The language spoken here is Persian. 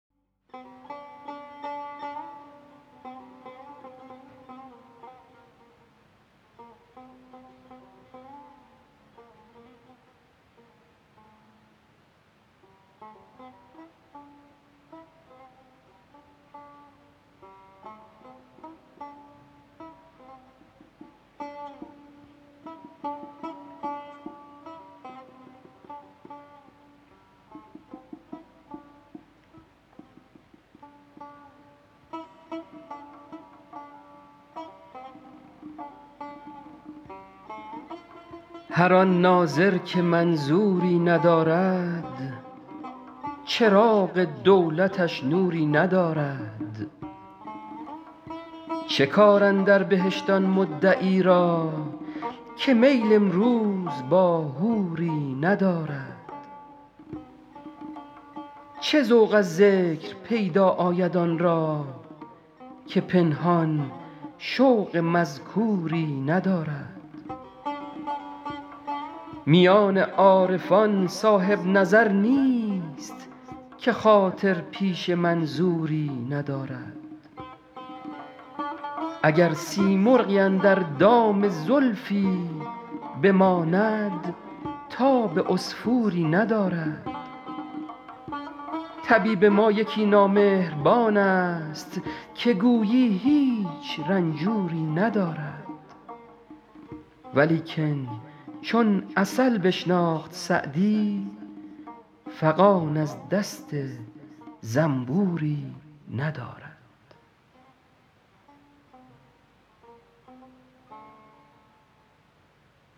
هر آن ناظر که منظوری ندارد چراغ دولتش نوری ندارد چه کار اندر بهشت آن مدعی را که میل امروز با حوری ندارد چه ذوق از ذکر پیدا آید آن را که پنهان شوق مذکوری ندارد میان عارفان صاحب نظر نیست که خاطر پیش منظوری ندارد اگر سیمرغی اندر دام زلفی بماند تاب عصفوری ندارد طبیب ما یکی نامهربان ست که گویی هیچ رنجوری ندارد ولیکن چون عسل بشناخت سعدی فغان از دست زنبوری ندارد